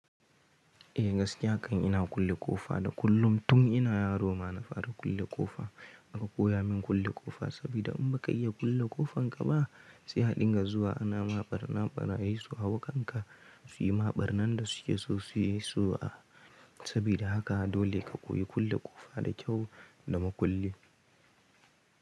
Eh gaskiya kan ina kulle ƙofa da kullum tun ina yaro ma na fara kulle ƙofa. Aka koya min kulle ƙofa sabida in baka iya kulle ƙofan gaba sihaɗin ga zuwa ana maɓarnaɓara yisu a hakanka suyi maɓarna da suke so suyi so a. Sabida haka dole ka koyi kulle ƙofa da kyau da mukulli.